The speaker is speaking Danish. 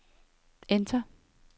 enter